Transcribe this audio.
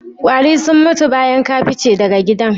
Ƙwari sun mutu bayan ka fice daga gidan?